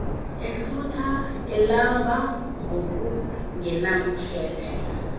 ehlutha elamba ngokungenamkhethe